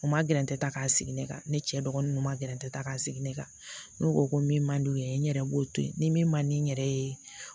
U ma gɛrɛntɛ ta k'a sigi ne ka ne cɛ dɔgɔninw ma gɛrɛntɛ ta k'a sigi ne kan n'u ko ko min man d'u ye n yɛrɛ b'o to yen ni min man di n yɛrɛ ye